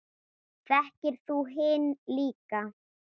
Þekktir þú hinn líka?